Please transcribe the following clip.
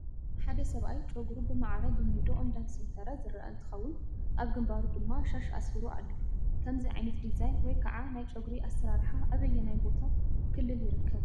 ሓደ ሰብኣይ ጨጉሩ ብማዕረ ብሚዶ እንዳሰንተረ ዝረአ እንትኸውን ኣብ ግንባሩ ድማ ሻሽ ኣሲሩ ኣሎ፡፡ ከምዚ ዓይነት ዲዛይን ወይ ከዓ ናይ ጨጉሪ ኣሰራርሓ ኣበየናይ ቦታ ክልል ይርከብ?